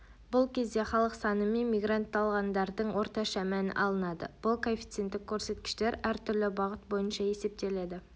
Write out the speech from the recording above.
бұл кезде халық саны мен мигрантталғандардың орташа мәні алынады бұл коэффиценттік көрсеткіштер әр түрлі бағыт бойынша есептеледі